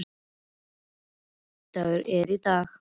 Hólmsteinn, hvaða vikudagur er í dag?